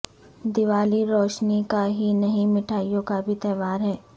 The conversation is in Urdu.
دیوالی روشنی کا ہی نہیں مٹھائیوں کا تہوار بھی ہے